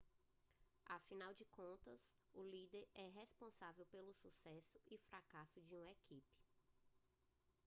afinal de contas o líder é responsável pelo sucesso e fracasso de uma equipe